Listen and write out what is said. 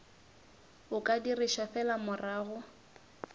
o ka dirišwa fela morago